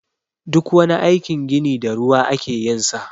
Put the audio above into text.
Duk wani aikin gini da ruwa ake yin sa.